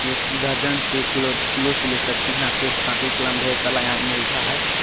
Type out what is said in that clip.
--दर्जन से किलो-किलो से ले सकते है यहाँ पे कॉपी कलम ढेर है साला यहाँ मिलता है।